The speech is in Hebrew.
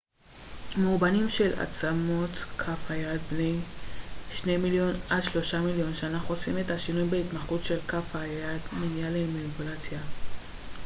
מאובנים של עצמות כף היד בני שני מיליון עד שלושה מיליון שנה חושפים את השינוי בהתמחות של כף היד מניעה למניפולציה